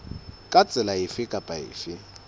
ka tsela efe kapa efe